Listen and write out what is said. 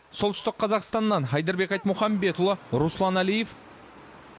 солтүстік қазақстаннан айдарбек айтмұхамбетұлы руслан әлиев